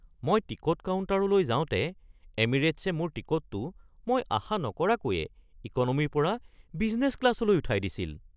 মই টিকট কাউণ্টাৰলৈ যাওঁতে এমিৰেটছে মোৰ টিকটটো মই আশা নকৰাকৈয়ে ইক'নমীৰ পৰা বিজনেছ ক্লাছলৈ উঠাই দিছিল।